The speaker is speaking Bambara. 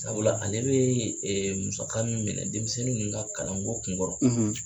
Sabula ale bɛ musaka min minɛ denmisɛnnin ninnu ka kalanko kun kɔrɔ